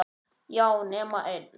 Já, nema ein.